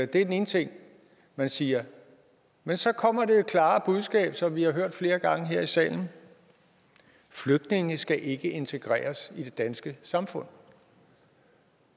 det er den ene ting man siger men så kommer det klare budskab som vi har hørt flere gange her i salen flygtninge skal ikke integreres i det danske samfund